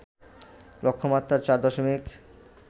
লক্ষ্যমাত্রার ৪ দশমিক